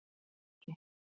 Haki